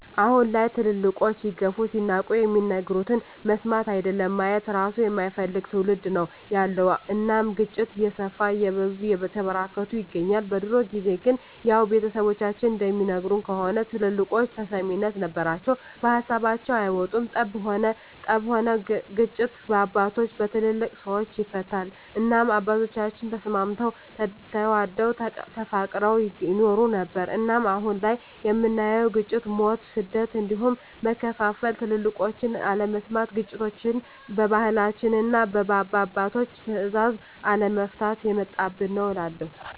አሁን ላይ ትልልቆች ሲገፉ ሲናቁ የሚናገሩትን መስማት አይደለም ማየት እራሱ የማይፈልግ ትዉልድ ነዉ ያለዉ እናም ግጭቶች እየሰፉ እየበዙ እየተበራከቱ ይገኛል። በድሮ ጊዜ ግን ያዉ ቤተሰቦቻችን እንደሚነግሩን ከሆነ ትልልቆች ተሰሚነት ነበራቸዉ ከሀሳባቸዉ አይወጡም ጠብም ሆነ ግጭት በአባቶች(በትልልቅ ሰወች) ይፈታል እናም አባቶቻችን ተስማምተዉ ተዋደዉ ተፋቅረዉ ይኖሩ ነበር። እናም አሁን ላይ የምናየዉ ግጭ፣ ሞት፣ ስደት እንዲሁም መከፋፋል ትልቆችን አለመስማት ግጭቶችችን በባህላችንና እና በአባቶች ትእዛዝ አለመፍታት የመጣብን ነዉ እላለሁ።